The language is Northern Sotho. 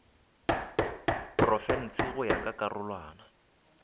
profense go ya ka karolwana